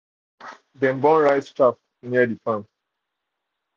dem burn rice chaff near the farm.